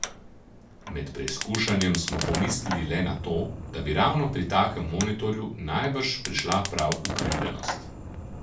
Med preizkušanjem smo pomislili le na to, da bi ravno pri takem monitorju najbrž prišla prav ukrivljenost.